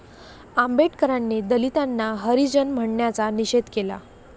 आंबेडकरांनी दलितांना हरिजन म्हणण्याचा निषेध केला